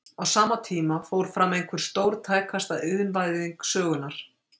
Á sama tíma fór fram einhver stórtækasta iðnvæðing sögunnar.